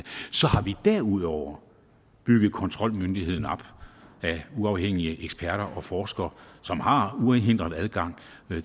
så har vi derudover bygget kontrolmyndigheden op af uafhængige eksperter og forskere som har uhindret adgang